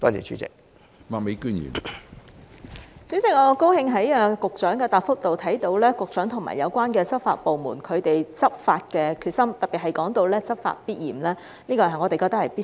主席，我很高興在局長的答覆看到，局長和有關執法部門執法的決心，特別是說到"執法必嚴"，我們覺得是必須的。